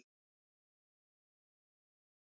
Nú er ég í prufum.